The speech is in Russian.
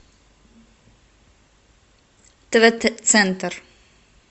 тв центр